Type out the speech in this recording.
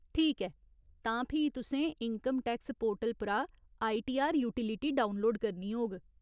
ठीक ऐ, तां फ्ही तुसें इन्कम टैक्स पोर्टल परा आईटीआर यूटिलिटी डाक्टरउनलोड करनी होग।